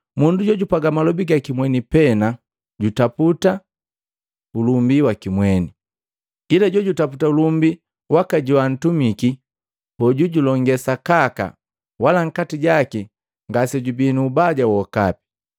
Mundu jojupwa malobi gaki mweni pe jutaputa ulumbi waki mweni, ila jojutaputa ulumbi waka joantumiki, hoju julonge sakaka wala nkati jaki ngasejubii nu ubaja wokapi.